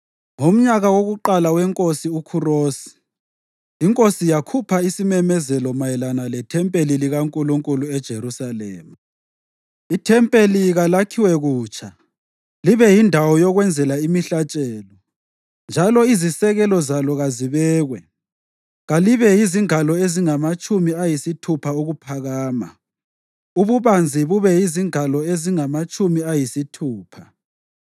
Ngomnyaka wokuqala weNkosi uKhurosi, inkosi yakhupha isimemezelo mayelana lethempeli likaNkulunkulu eJerusalema: Ithempeli kalakhiwe kutsha libe yindawo yokwenzela imihlatshelo, njalo izisekelo zalo kazibekwe. Kalibe yizingalo ezingamatshumi ayisithupha ukuphakama, ububanzi bube yizingalo ezingamatshumi ayisithupha,